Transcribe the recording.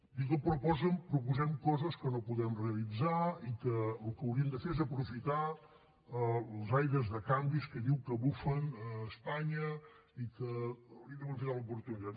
diu que proposem coses que no podem realitzar i que el que hauríem de fer és aprofitar els aires de canvis que diu que bufen a espanya i que hauríem d’aprofitar l’oportunitat